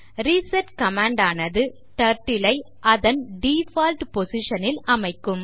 reset command ஆனது Turtle ஐ அதன் டிஃபால்ட் position ல் அமைக்கும்